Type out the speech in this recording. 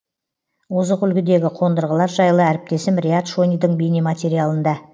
озық үлгідегі қондырғылар жайлы әріптесім риат шонидың бейнематериалында